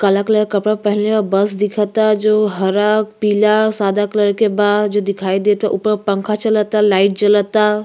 कला कलर कपड़ा पेहेनले ह। बस दिखता जो हरा पीला सादा कलर के बा जो दिखाई देता। ऊपर पंखा चलता लाइट जलता।